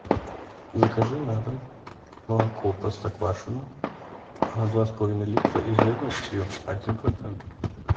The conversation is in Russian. закажи на дом молоко простоквашино два с половиной литра и жирностью один процент